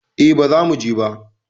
E, bazamu je ba